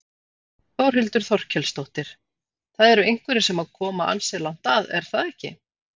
Þórhildur Þorkelsdóttir: Það eru einhverjir sem að koma ansi langt að er það ekki?